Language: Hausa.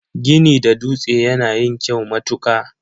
Gini da dutse yana yin kyau matuka.